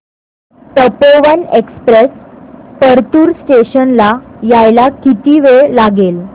Tapovan express Partur station ला यायला किती वेळ लागेल